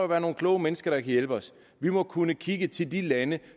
være nogle kloge mennesker der kan hjælpe os vi må kunne kigge til de lande